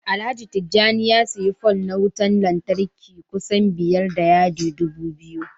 Alhaji Tijjani ya siyi pole na wutan lantarki kusan biyar da yadi dubu biyu